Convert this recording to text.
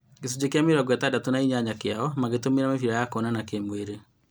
Gĩcunjĩ kĩa mĩrongo ĩtandatũ na inyanya kĩao magĩtũmĩra mĩbira ya kuonana kĩ-mwĩrĩ